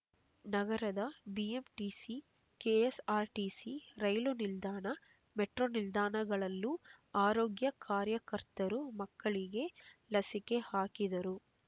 ನಗರದ BMTC KSRTC ರೈಲು ನಿಲ್ದಾಣ ಮೆಟ್ರೋ ನಿಲ್ದಾಣಗಳಲ್ಲೂ ಆರೋಗ್ಯ ಕಾರ್ಯಕರ್ತರು ಮಕ್ಕಳಿಗೆ ಲಸಿಕೆ ಹಾಕಿದರು